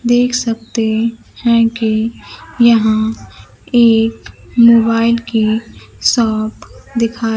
देख सकते हैं कि यहां एक मोबाइल की शॉप दिखाई--